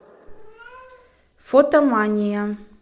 фотомания